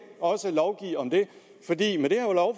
også lovgive om det